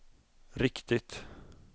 riktigt